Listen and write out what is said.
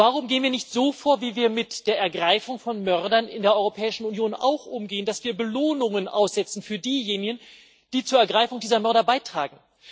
Warum gehen wir nicht so vor, wie wir auch mit der Ergreifung von Mördern in der Europäischen Union umgehen, indem wir Belohnungen aussetzen für diejenigen, die zur Ergreifung dieser Mörder beitragen?